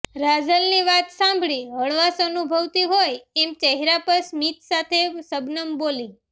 રાજલની વાત સાંભળી હળવાશ અનુભવતી હોય એમ ચહેરા પર સ્મિત સાથે શબનમ બોલી